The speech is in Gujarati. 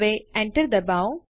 હવે એન્ટર ડબાઓ